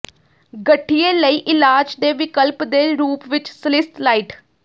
ਗਠੀਏ ਲਈ ਇਲਾਜ ਦੇ ਵਿਕਲਪ ਦੇ ਰੂਪ ਵਿੱਚ ਸਲਿਸਲਾਈਟ